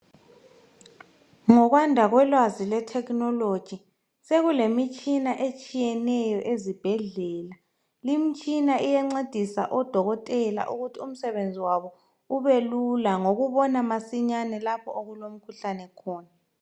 Ngokwanda kolwazi lwe"technology" sekulemitshina etshiyeneyo ezibhedlela. Limtshina iyancedisa odokotela ukuthi umsebenzi wabo ubelula ngokubona masinyane lapho okulomkhuhlane khona.